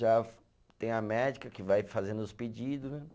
Já tem a médica que vai fazendo os pedidos, né?